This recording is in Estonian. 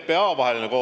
Aitäh, peaminister!